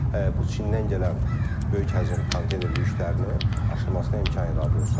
bu Çindən gələn böyük həcm konteyner yüklərinin aşılmasına imkan yaradılsın.